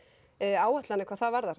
áætlanir hvað það varðar